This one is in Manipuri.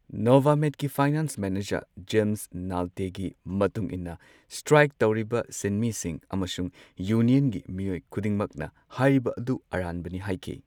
ꯅꯣꯚꯥꯃꯦꯗꯀꯤ ꯐꯥꯏꯅꯥꯟ꯭ꯁ ꯃꯦꯅꯦꯖꯔ ꯖꯦꯝꯁ ꯅꯥꯜꯇꯦꯒꯤ ꯃꯇꯨꯡ ꯏꯟꯅ, ꯁ꯭ꯇ꯭ꯔꯥꯏꯛ ꯇꯧꯔꯤꯕ ꯁꯤꯟꯃꯤꯁꯤꯡ ꯑꯃꯁꯨꯡ ꯌꯨꯅꯤꯌꯟꯒꯤ ꯃꯤꯑꯣꯢ ꯈꯨꯗꯤꯡꯃꯛꯅ ꯍꯥꯢꯔꯤꯕ ꯑꯗꯨ ꯑꯔꯥꯟꯕꯅꯤ ꯍꯥꯏꯈꯤ꯫